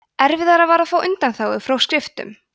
erfiðara var að fá undanþágu frá skriftum